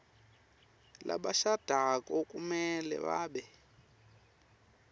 labashadako kumele babe